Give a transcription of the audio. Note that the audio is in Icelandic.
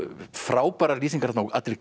frábærar lýsingar þarna á allri